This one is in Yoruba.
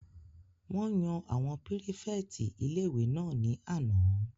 Wọ́n yan àwọn pírífẹ̀tì ilé-ìwé náà ní àná